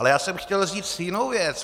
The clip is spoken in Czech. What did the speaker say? Ale já jsem chtěl říct jinou věc.